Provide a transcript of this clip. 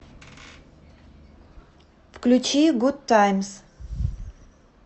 включи гудтаймс